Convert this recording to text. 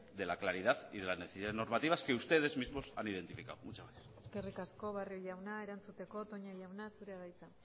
de la claridad y de la necesidad de normativas que ustedes mismos han identificado muchas gracias eskerrik asko barrio erantzuteko toña jauna zurea da hitza